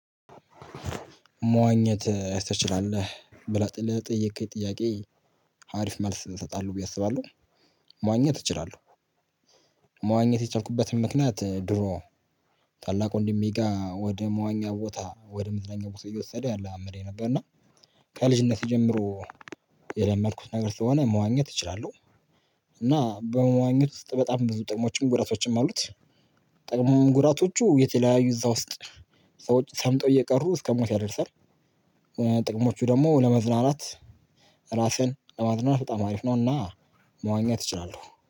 መዋኘት ትችላለህ ብለህ ለጠየከኝ ጥያቄ ሀሪፍ መልስ እንሰጣለን ብዬ አስባለሁ። መዋኘት እችላለሁ። መዋኘት የቻልኩበትን ምክንያት ድሮ። ታላቅ ወንድሜ ጋር ወደ መዋኛ ቦታ ወደ ምድር መዋኛ ቦታ እየወሰደ ያለማምደኝ ነበር። እና ከልጅነቴ ጀምሮ የለመድኩት ነገር ስለሆነ መዋኘት እችላለሁ። እና በመዋኘት ውስጥ በጣም ብዙ ጥቅሞችም ጉራቶችም አሉት። ጥቅሙ ጉራቶቹ የተለያዩ እዛ ውስጥ። ሰምጠው እየቀሩ እስከሞት ያደርሳል። ጥቅሞቹ ደግሞ ለመዝናናት ራስህን ለማዝናናት በጣም አሪፍ ነውና። መዋኘት ይችላሉ።